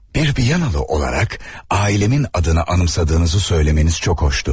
Bir Viyanalı olaraq, ailəmin adını anımsadığınızı söyləməniz çox xoşdu.